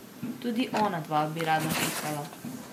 Tudi ona dva bi rada pisala.